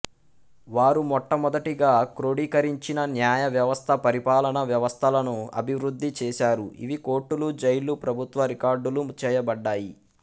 వారు మొట్టమొదటిగా క్రోడీకరించిన న్యాయ వ్యవస్థ పరిపాలనా వ్యవస్థలను అభివృద్ధి చేశారు ఇవి కోర్టులు జైళ్లు ప్రభుత్వ రికార్డులు చేయబడ్డాయి